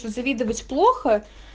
что завидовать плохо